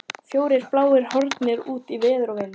Fjórir bláir horfnir út í veður og vind!